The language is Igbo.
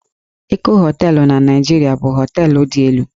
Eko Hóteélụ̀ na Naịjirịa bụ hóteélụ̀ dị elu